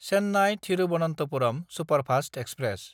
चेन्नाय–थिरुबनन्थपुरम superfast express